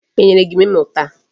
E nyere gị memo taa?